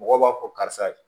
Mɔgɔw b'a fɔ karisa